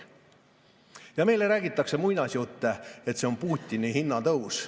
Ja meile räägitakse muinasjutte, et see on Putini hinnatõus.